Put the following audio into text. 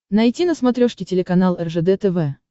найти на смотрешке телеканал ржд тв